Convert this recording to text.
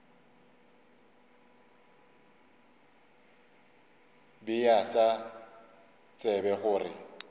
be a sa tsebe gore